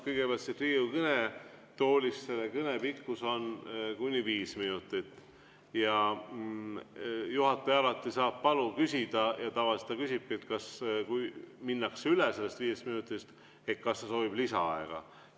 Kõigepealt, siit Riigikogu kõnetoolist peetava kõne pikkus on kuni viis minutit ja juhataja alati saab küsida ja tavaliselt küsibki, kui minnakse üle sellest viiest minutist, kas kõneleja soovib lisaaega.